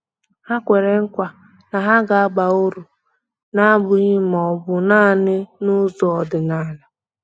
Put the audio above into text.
Ha kwere nkwa na ha ga-aba uru, na-abụghị ma ọ bụ naanị n'ụzọ ọdịnala.